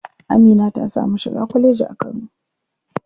Amina ta samu shiga kwalleji a kano.